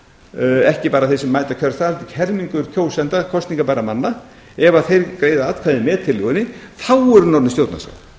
ekki bara þeir sem mæta á kjörstað helmingur kjósenda kosningabærra manna ef þeir greiða atkvæði með tillögunni þá eru hún orðin stjórnarskrá